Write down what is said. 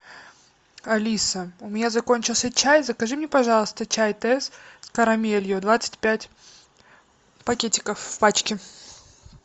алиса у меня закончился чай закажи мне пожалуйста чай тесс с карамелью двадцать пять пакетиков в пачке